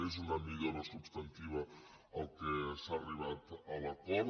és una millora substantiva a què s’ha arribat amb l’acord